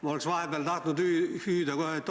Ma oleks vahepeal tahtnud lausa oot-oot-oot hüüda.